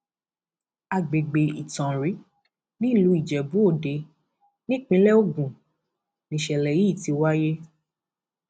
àgbègbè ìtanrin nílùú ijebuòde nípínlẹ ogun nìṣẹlẹ yìí ti wáyé